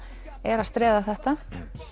er að streða þetta